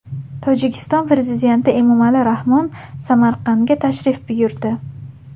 Tojikiston prezidenti Emomali Rahmon Samarqandga tashrif buyurdi.